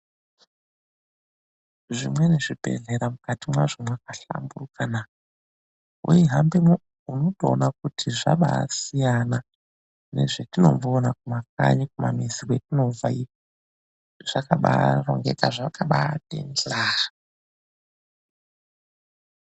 Zvimweni zvibhedhlera mukati mazvo mwakashanduka naa! Weihambamo unotoona kuti zvakabaasiyana nezvatomboona kuma kanyi kumamizi kwetinobva zvakabaarongeka, zvakabati hla.